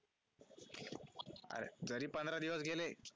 अरे तरी पंधरा दिवस गेले